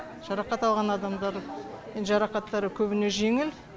жарақат алған адамдар жарақаттары көбіне жеңіл